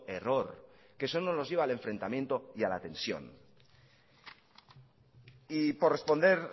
error que solo nos lleva al enfrentamiento y a la tensión y por responder